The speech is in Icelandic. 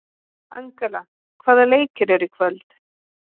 Angela, hvaða leikir eru í kvöld?